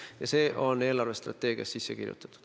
Ja see on eelarvestrateegiasse sisse kirjutatud.